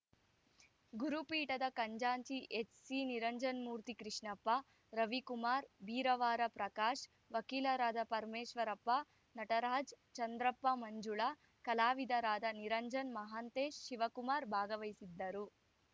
ಗುರುಪೀಠದ ಖಜಾಂಚಿ ಎಚ್‌ಸಿನಿರಂಜನಮೂರ್ತಿ ಕೃಷ್ಣಪ್ಪ ರವಿಕುಮಾರ್‌ ಬೀರಾವರ ಪ್ರಕಾಶ್‌ ವಕೀಲರಾದ ಪರಮೇಶ್ವರಪ್ಪ ನಟರಾಜ್‌ ಚಂದ್ರಪ್ಪ ಮಂಜುಳ ಕಲಾವಿದರಾದ ನಿರಂಜನ್‌ ಮಹಾಂತೇಶ್‌ ಶಿವಕುಮಾರ್‌ ಭಾಗವಹಿಸಿದ್ದರು